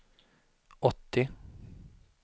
åttio